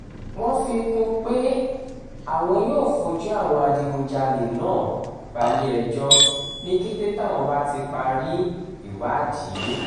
wọ́n fi kún un pé àwọn yóò fojú àwọn adigunjalè náà balẹ̀-ẹjọ́ ní kété táwọn bá ti parí ìwádìí